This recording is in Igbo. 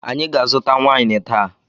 Anyị ga-aquta waịn taa.